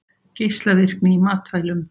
Geislavirkni í matvælum